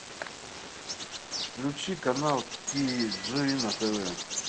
включи канал ти джи на тв